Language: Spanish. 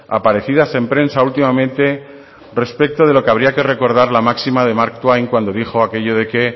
aparecidas en prensa últimamente respecto de lo que habría que recordar la máxima de mark twain cuando dijo aquello de que